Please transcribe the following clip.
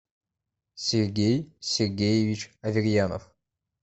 сергей сергеевич аверьянов